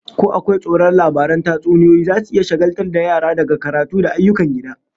Ko akwai tsoron labaran tatsuniyoyi zasu iya shagaltar da yara daga karatu da ayyukan gida?